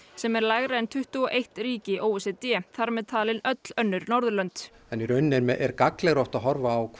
sem er lægra en tuttugu og eitt ríki o e c d þar með talin öll önnur Norðurlönd í rauninni er gagnlegra að horfa á